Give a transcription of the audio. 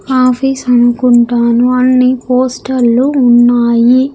Office అనుకుంటాను అన్ని పోస్టర్లు ఉన్నాయి.